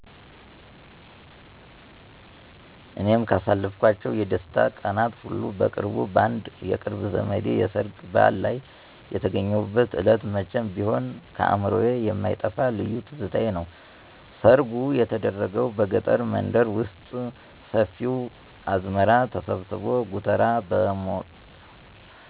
እኔም ካሳለፍኳቸው የደስታ ቀናት ሁሉ በቅርቡ በአንድ የቅርብ ዘመዴ "የሰርግ በዓል" ላይ የተገኘሁበት ዕለት መቼም ቢሆን ከአእምሮዬ የማይጠፋ ልዩ ትዝታዬ ነው። ሰርጉ የተደረገው በገጠር መንደር ውስጥ፣ ሰፊው አዝመራ ተሰብስቦ ጎተራ